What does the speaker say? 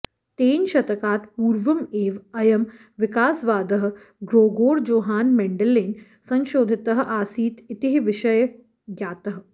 तेन शतकात् पूर्वम् एव अयं विकासवादः ग्रोगोर् जोहान् मेण्डेलेन संशोधितः आसीत् इति विषयः ज्ञातः